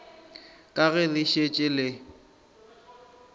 ka ge le šetše le